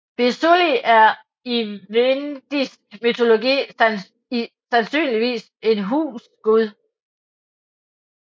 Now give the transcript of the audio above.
Birzuli er i vendisk mytologi sandsynligvis en husgud